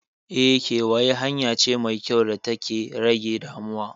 Eh, kewaye hanya ce mai kyau data ke rage damuwa.